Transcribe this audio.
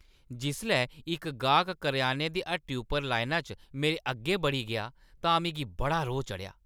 जिसलै इक गाह्क करेआने दी हट्टी उप्पर लाइना च मेरे अग्गें बड़ी गेआ तां मिगी बड़ा रोह्‌ चढ़ेआ ।